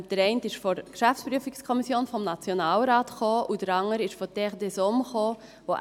Der eine kam von der GPK-N und der andere von «Terre des hommes».